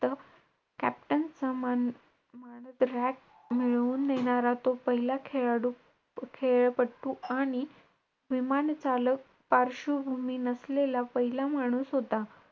Captain सन्मान मिळवुन देणारा तो पहिला खेळाडू~ खेळपट्टू आणि विमानचालक पार्श्वभूमी नसलेला पहिला माणूस होता.